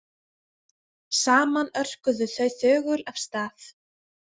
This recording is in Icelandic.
Saman örkuðu þau þögul af stað.